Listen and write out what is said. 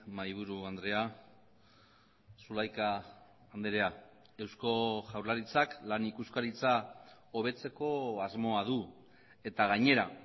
mahaiburu andrea zulaika andrea eusko jaurlaritzak lan ikuskaritza hobetzeko asmoa du eta gainera